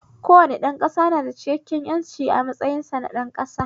Kowane ɗan ƙasa na da cikakken ƴanci a matsayinsa na ɗan ƙasa